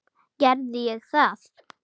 Gerði ég það?